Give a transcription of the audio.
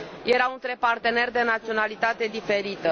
erau între parteneri de naționalitate diferită.